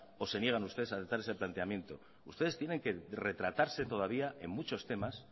o se niegan ustedes a aceptar ese planteamiento ustedes tienen que retratarse todavía en muchos temas